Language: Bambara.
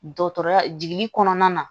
Dɔgɔtɔrɔya jiginli kɔnɔna na